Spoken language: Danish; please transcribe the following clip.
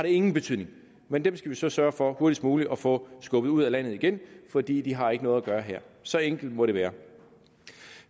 ingen betydning men dem skal vi så sørge for hurtigst muligt at få skubbet ud af landet igen for de har ikke noget at gøre her så enkelt må det være